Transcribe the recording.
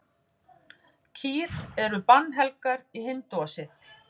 Kýr eru bannhelgar í hindúasið.